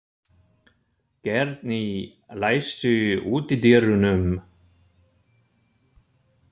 Geirný, læstu útidyrunum.